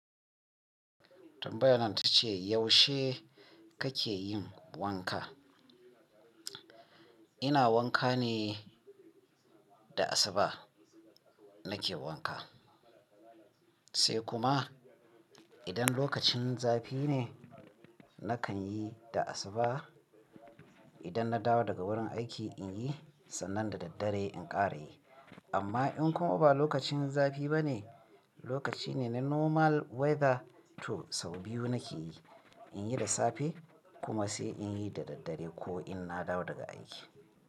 Tambayar nan ta ce yaushe kake yin wanka? Ina wanka ne da asuba nake wanka, sai kuma idan lokacin zafi ne nakan yi da asuba. Idan na dawo daga wurin aiki in yi sannan da daddare in ƙara yi. Amma in kuma ba lokacin zafi ba ne, lokaci ne na normal weather to sau biyu nake yi, in yi da safe kuma sai in yi da daddare ko in na dawo daga aiki.